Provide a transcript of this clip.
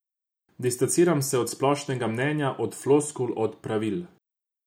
Distanciram se od splošnega mnenja, od floskul, od pravil.